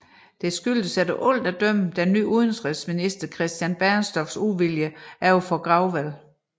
Det skyldes efter alt at dømme den nye udenrigsminister Christian Bernstorffs uvilje over for Grouvelle